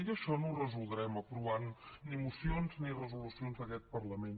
i això no ho resoldrem aprovant ni mocions ni resolucions d’aquest parlament